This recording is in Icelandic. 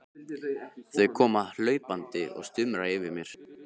Þau koma hlaupandi og stumra yfir mér.